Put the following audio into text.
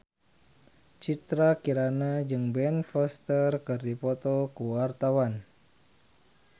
Citra Kirana jeung Ben Foster keur dipoto ku wartawan